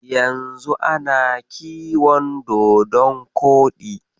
Yanzu ana kiyon dodon koɗi.